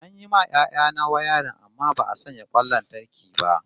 An yi ma yaya na wayarin amma ba'a sanya kwan lantarki ba